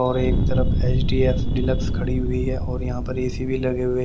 और एक तरफ एच_डी_एक्स डीलक्स खड़ी हुई है और यहां पर ए_सी भी लगे हुए--